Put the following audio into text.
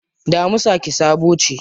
Damisa ƙi-sabo ce.